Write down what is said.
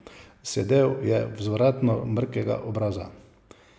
Sedel je vzravnano, mrkega obraza.